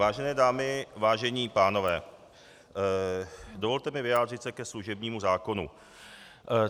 Vážené dámy, vážení pánové, dovolte mi vyjádřit se ke služebnímu zákonu.